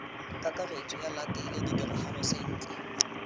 kakaretso ba latele ditiragalo sentle